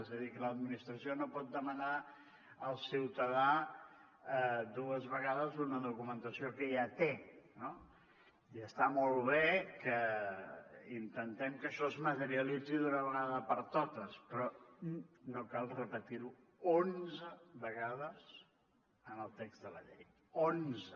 és a dir que l’administració no pot demanar al ciutadà dues vegades una documentació que ja té no i està molt bé que intentem que això es materialitzi d’una vegada per totes però no cal repetir ho onze vegades en el text de la llei onze